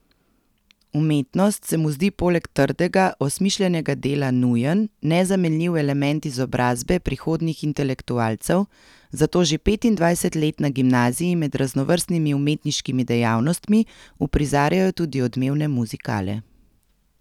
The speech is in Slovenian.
Umetnost se mu zdi poleg trdega, osmišljenega dela nujen, nezamenljiv element izobrazbe prihodnjih intelektualcev, zato že petindvajset let na gimnaziji med raznovrstnimi umetniškimi dejavnostmi uprizarjajo tudi odmevne muzikale.